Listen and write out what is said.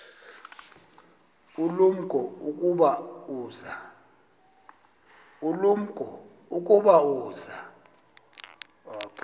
ulumko ukuba uza